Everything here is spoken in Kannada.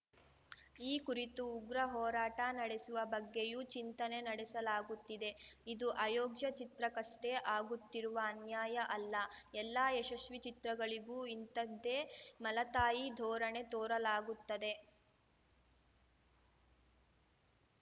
ಈ ಕುರಿತು ಉಗ್ರ ಹೋರಾಟ ನಡೆಸುವ ಬಗ್ಗೆಯೂ ಚಿಂತನೆ ನಡೆಸಲಾಗುತ್ತಿದೆ ಇದು ಅಯೋಗ್ಯ ಚಿತ್ರಕ್ಕಷ್ಟೇ ಆಗುತ್ತಿರುವ ಅನ್ಯಾಯ ಅಲ್ಲ ಎಲ್ಲಾ ಯಶಸ್ವೀ ಚಿತ್ರಗಳಿಗೂ ಇಂಥದ್ದೇ ಮಲತಾಯಿ ಧೋರಣೆ ತೋರಲಾಗುತ್ತದೆ